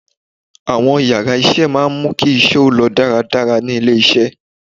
Àwọn yàrá isé maá mú kí isé ó lọ dáradára ní ilé isé